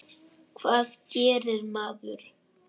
Hvað gerir maður?